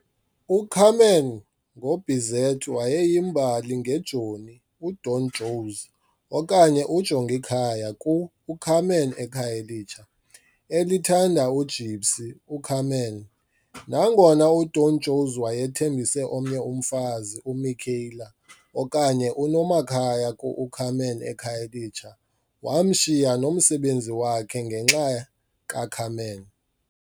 U-Carmen ngoBizet wayeyimbali ngejoni, uDon José, okanye uJongikhaya ku-U-Carmen eKhayelitsha, elithanda ujipsy, uCarmen. Nangona uDon José wayethembise omnye umfazi, uMicaëla, okanye uNomakhaya kuU-Carmen eKhayelitsha, wamshiya nomsebenzi wakhe ngenxa kaCarmen.